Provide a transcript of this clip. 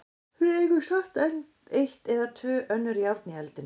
Við eigum samt enn eitt eða tvö önnur járn í eldinum.